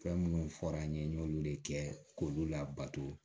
Fɛn minnu fɔra n ye n y'olu de kɛ k'olu labato